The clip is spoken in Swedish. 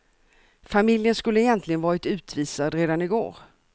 Familjen skulle egentligen varit utvisad redan i går.